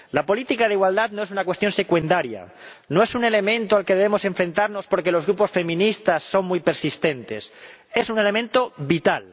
La política de igualdad no es una cuestión secundaria, no es un elemento al que debemos enfrentarnos porque los grupos feministas son muy persistentes es un elemento vital.